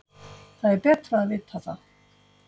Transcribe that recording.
Það er betra að vita það.